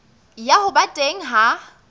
ya ho ba teng ha